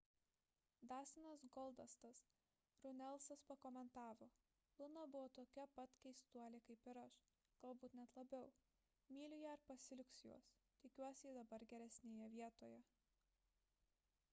dastinas goldastas runelsas pakomentavo luna buvo tokia pat keistuolė kaip ir aš galbūt net labiau myliu ją ir pasiilgsiu jos tikiuosi ji dabar geresnėje vietoje